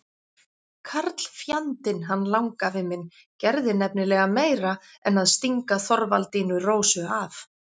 Karlfjandinn, hann langafi minn, gerði nefnilega meira en að stinga Þorvaldínu Rósu af.